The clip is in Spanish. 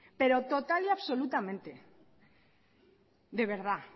pero total y absolutamente de verdad